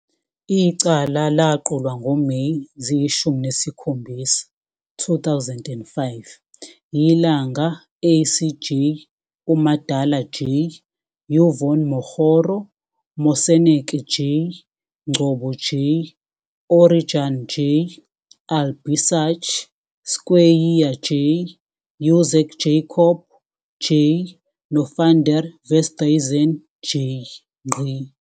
Icala laqulwa ngoMeyi 17, 2005, yiLanga ACJ, uMadala J,YvonneMokgoro, Moseneke J, Ngcobo J, O'Regan J, Albie Sachs, Skweyiya J, UZak Yacoob J noVan Der Westhuizen J.